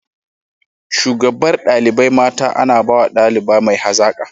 Shugabar dalibai mata ana bawa daliba mai hazaka.